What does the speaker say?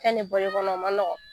Ɛ ni bɔl'i kɔnɔ o ma nɔgɔ.